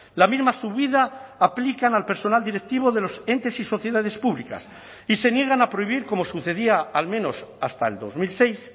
la misma subida aplican al personal directivo de los entes y sociedades públicas y se niegan a prohibir como sucedía al menos hasta el dos mil seis